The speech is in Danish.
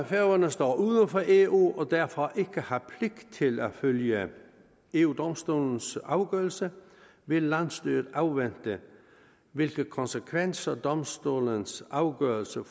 færøerne står uden for eu og derfor ikke har pligt til at følge eu domstolens afgørelse vil landsstyret afvente hvilke konsekvenser domstolens afgørelse